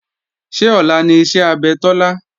Ṣé ọ̀la ni iṣẹ́ abẹ Tọ́lá?